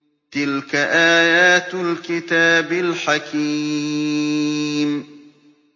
تِلْكَ آيَاتُ الْكِتَابِ الْحَكِيمِ